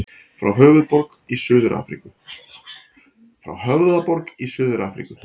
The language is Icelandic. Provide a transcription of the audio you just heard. Frá Höfðaborg í Suður-Afríku.